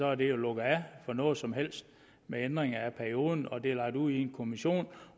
er der jo lukket af for nogen som helst ændringer af perioden og det er lagt ud i en kommission